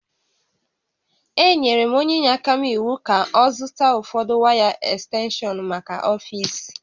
Enyere m onye inyeaka m iwu ka ọ zụta ụfọdụ waya ekstenshọnmaka ọfiisi